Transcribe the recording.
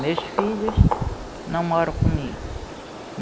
Meus filhos não moram comigo.